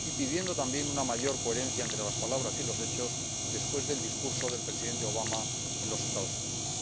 y pidiendo también una mayor coherencia entre las palabras y los hechos, después del discurso del Presidente Obama en los Estados Unidos.